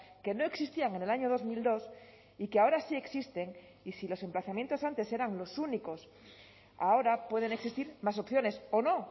que no existían en el año dos mil dos y que ahora sí existen y si los emplazamientos antes eran los únicos ahora pueden existir más opciones o no